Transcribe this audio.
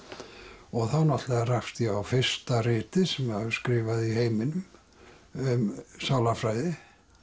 og þá náttúrulega rakst ég á fyrsta ritið sem var skrifað í heiminum um sálarfræði